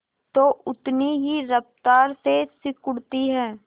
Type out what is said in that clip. तो उतनी ही रफ्तार से सिकुड़ती है